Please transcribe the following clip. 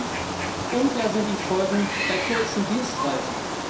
Und drittens Unklar sind die Folgen bei kurzen Dienstreisen.